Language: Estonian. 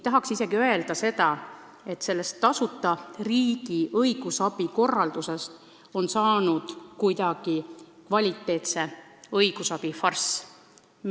Tahaks isegi öelda, et tasuta riigi õigusabi korraldusest on saanud nagu kvaliteetse õigusabi farss.